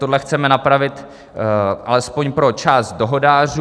Tohle chceme napravit alespoň pro část dohodářů.